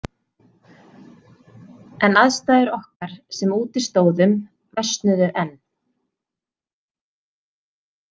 En aðstæður okkar sem úti stóðum versnuðu enn.